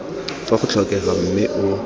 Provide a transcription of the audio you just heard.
fa go tlhokega mme o